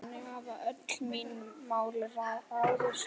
Þannig hafa öll mín mál ráðist.